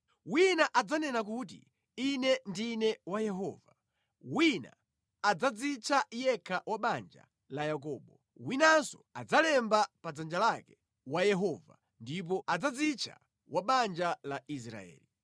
Wina adzanena kuti, ‘Ine ndine wa Yehova;’ wina adzadzitcha yekha wa banja la Yakobo; winanso adzalemba pa dzanja lake, ‘Wa Yehova’ ndipo adzadzitcha wa banja la Israeli.